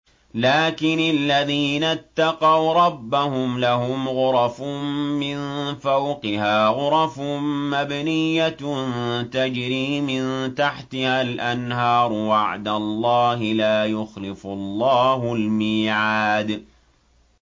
لَٰكِنِ الَّذِينَ اتَّقَوْا رَبَّهُمْ لَهُمْ غُرَفٌ مِّن فَوْقِهَا غُرَفٌ مَّبْنِيَّةٌ تَجْرِي مِن تَحْتِهَا الْأَنْهَارُ ۖ وَعْدَ اللَّهِ ۖ لَا يُخْلِفُ اللَّهُ الْمِيعَادَ